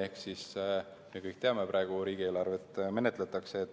Ehk me kõik teame – praegu riigieelarvet menetletakse –,